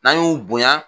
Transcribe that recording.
N'an y'u bonya